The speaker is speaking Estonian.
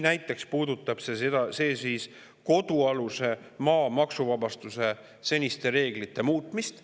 Näiteks puudutab see kodualuse maa maksuvabastuse seniste reeglite muutmist.